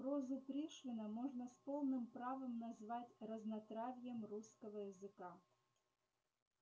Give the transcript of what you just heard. прозу пришвина можно с полным правом назвать разнотравьем русского языка